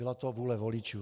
Byla to vůle voličů.